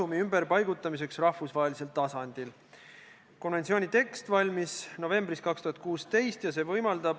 Mis erandit siin õigupoolest vaja on, sest raudteeveo-ettevõtja kulud katab lõpuks kindlustus või süüdlane?